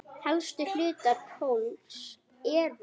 Helstu hlutar plógs eru